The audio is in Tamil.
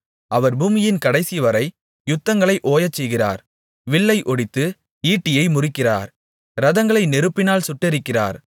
அவர் பூமியின் கடைசிவரை யுத்தங்களை ஓயச்செய்கிறார் வில்லை ஒடித்து ஈட்டியை முறிக்கிறார் இரதங்களை நெருப்பினால் சுட்டெரிக்கிறார்